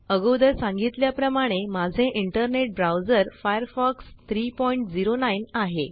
अगोदर सांगितल्या प्रमाणे माझे इंटरनेट ब्राउज़र फायरफॉक्स 309 आहे